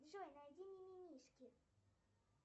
джой найди мимимишки